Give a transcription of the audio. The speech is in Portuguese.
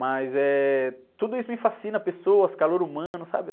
Mas, eh, tudo isso me fascina, pessoas, calor humano, sabe?